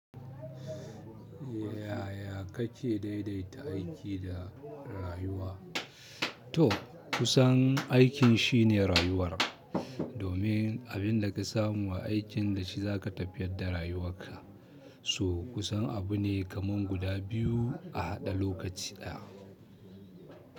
Yaya kake daidaita aiki da rayuwa? To, kusan aikin shine rayuwar, domin abinda ka samu a aikin da shi za ka tafiyar da rayuwarka. So kusan abu ne kaman guda biyu a haɗe lokaci ɗaya.